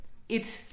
Et